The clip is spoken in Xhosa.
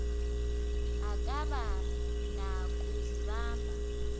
akaba na kuzibamba